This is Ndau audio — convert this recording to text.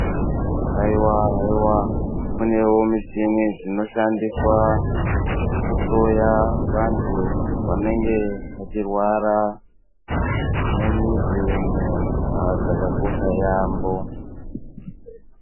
Hayiwa hayiwa kunewo muchini dzino shandiswa kuhloya vantu vange vachirwara mumizi umo ha dzakakosha yambo.